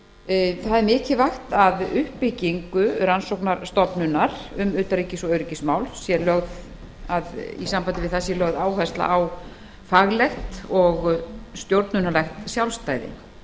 mikilvægt er að við uppbyggingu rannsóknarstofnunar um utanríkis og öryggismál sé lögð áhersla á faglegt og stjórnunarlegt sjálfstæði þá